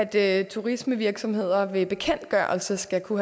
det at turismevirksomheder ved bekendtgørelse skal kunne